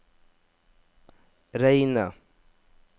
reine